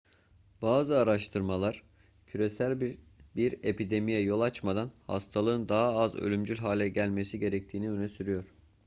bazı araştırmalar küresel bir epidemiye yol açmadan hastalığın daha az ölümcül hale gelmesi gerektiğini öne sürüyor